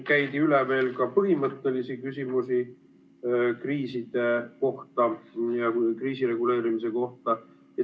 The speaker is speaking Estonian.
Käidi üle veel ka põhimõttelisi küsimusi kriiside ja kriisireguleerimise kohta.